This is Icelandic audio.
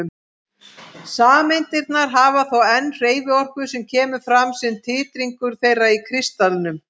Sameindirnar hafa þó enn hreyfiorku sem kemur fram sem titringur þeirra í kristallinum.